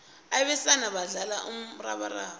abesana badlala umrabaraba